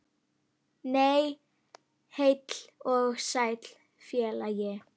Nei, heill og sæll félagi!